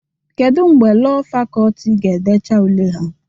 Kedu mgbe Lọọ Fakọlti ga-edecha ule ha?